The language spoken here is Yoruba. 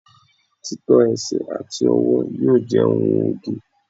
tító ẹsẹ ati ọwọ yíò je ohun oge